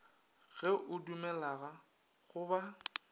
ge o dumellega go ba